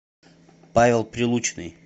павел прилучный